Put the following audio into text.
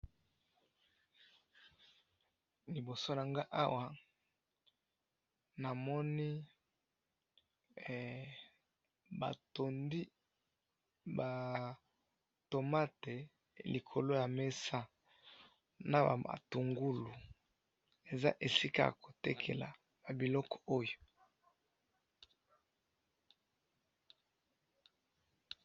liboso nanga awa na moni ba tundi ba tomate likolo ya mesa na ba matungulu eza esika yako tekela ba biloko oyo